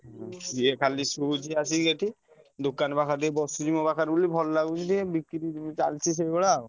ସିଏ ଖାଲି ଶୋଇଛୁ ଆସିକି ଏଠି ଦୋକାନ ପାଖରେ ଟିକେ ବସୁଛି ମୋ ପାଖରେ ବୋଲି ଭଲ ଲାଗୁଛି ଟିକେ ବିକ୍ରି ଚାଲିଛି ସେଇଭଳିଆ ଆଉ।